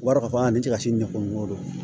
O b'a yira k'a fɔ a ni cɛ ka can ne kungo don